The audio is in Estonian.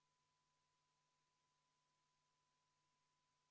Ma palun ka seda muudatusettepanekut hääletada ja enne seda kümneminutilist vaheaega.